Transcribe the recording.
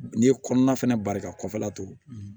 N'i ye kɔnɔna fɛnɛ bari ka kɔfɛla to